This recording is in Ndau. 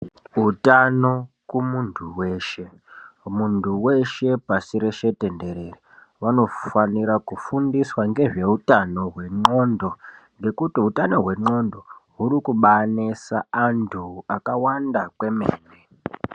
Utano kumunhu weshe mundu weshe pashi rese tenderere vanofanira kufundiswa ngezve utano wenglondo ngekuti utano hwenglondo hurikubainesa vandu vakawanda kwemene.